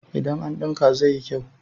idan an dinka zai yi kyau?